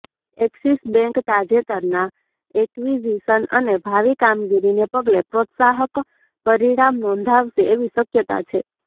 axis Bank તાજેતરના acquisition અને ભાવિ કામગીરીને પગલે પ્રોત્સાહક પરિણામ નોંધાવશે એવી શક્યતા છે